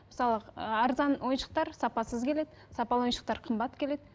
мысалы ы арзан ойыншықтар сапасыз келеді сапалы ойыншықтар қымбат келеді